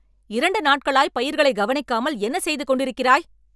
இரண்டு நாட்களாய் பயிர்களை கவனிக்காமல் என்ன செய்து கொண்டிருக்கிறாய்?